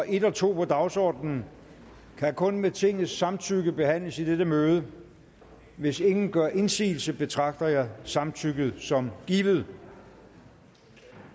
en og to på dagsordenen kan kun med tingets samtykke behandles i dette møde hvis ingen gør indsigelse betragter jeg samtykket som givet